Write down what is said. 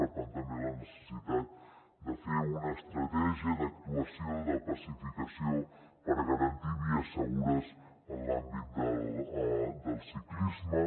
per tant també la necessitat de fer una estratègia d’actuació de pacificació per garantir vies segures en l’àmbit del ciclisme